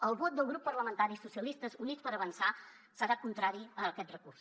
el vot del grup parlamentari socialistes i units per avançar serà contrari a aquest recurs